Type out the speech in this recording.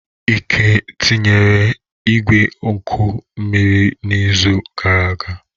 Ike etinyere igwe oku mmiri n'izu gara aga?